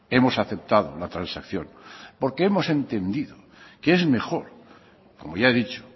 hemos aceptado la transacción porque hemos entendido que es mejor como ya he dicho